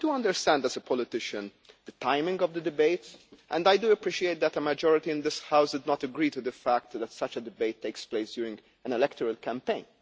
I do understand, as a politician, the timing of the debate, and I do appreciate that a majority in this House did not agree to the fact that such a debate takes place during an electoral campaign.